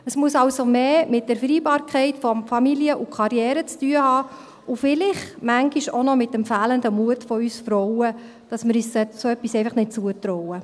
Es muss also mehr mit der Vereinbarkeit von Familie und Karriere zu tun haben und vielleicht manchmal auch mit dem fehlenden Mut von uns Frauen, dass wir uns so etwas einfach nicht zutrauen.